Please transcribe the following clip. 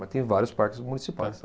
Mas tem vários parques municipais.